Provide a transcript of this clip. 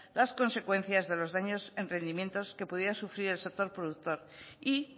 las consecuencias de los daños en rendimientos que pudiera sufrir el sector productor y